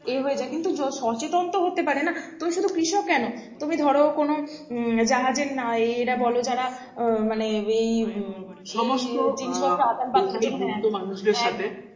ইয়ে হয়ে যাই কিন্তু সচেতন তো হতে পারে না তুমি শুধু কৃষক কেন তুমি ধরো কোনো উম জাহাজের নায় এরা বলো যারা আহ মানে এই উম জিনিস পত্র আদানপ্রদানে